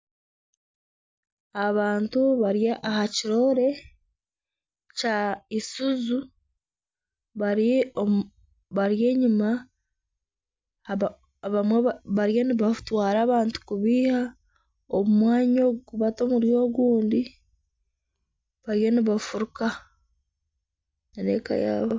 Abantu bari aha kiroore kya Isuzu. Bari omu, bari enyima aba abamwe ba bariyo nibatwara abantu kubaiha omu mwanya ogu kubata omuri ogundi. bariyo nibafuruka n'abeeka yaabo.